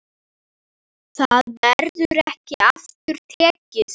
Það verður ekki aftur tekið.